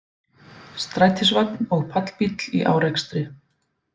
Strætisvagn og pallbíll í árekstri